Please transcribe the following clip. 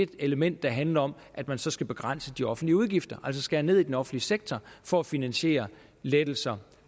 det element der handler om at man så skal begrænse de offentlige udgifter altså skære ned i den offentlige sektor for at finansiere lettelserne